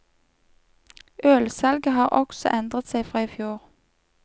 Ølsalget har også endret seg fra i fjor.